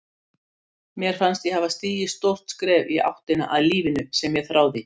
Mér fannst ég hafa stigið stórt skref í áttina að lífinu sem ég þráði.